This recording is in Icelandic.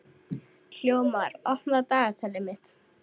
Hróðmar, opnaðu dagatalið mitt.